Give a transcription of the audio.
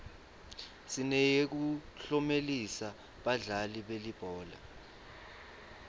sineyekuklomelisa badlali belibhola